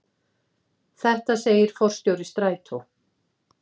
Þetta segir forstjóri Strætó.